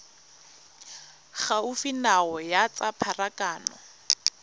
gaufi nao ya tsa pharakano